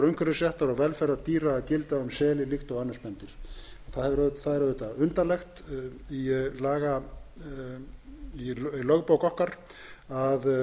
umhverfisréttar og velferðar dýra að gilda um seli líkt og önnur spendýr það er auðvitað undarlegt í lögbók okkar að